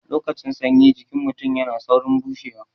Lokacin sanyi jikin mutun yana saurin bushewa